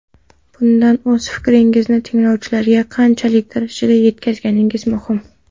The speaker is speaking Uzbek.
Bunda o‘z fikringizni tinglovchilarga qanchalik darajada yetkazganingiz muhim.